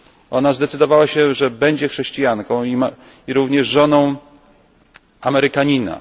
Ona zdecydowała, że będzie chrześcijanką i również żoną Amerykanina.